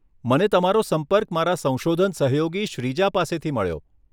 મને તમારો સંપર્ક મારા સંશોધન સહયોગી શ્રીજા પાસેથી મળ્યો.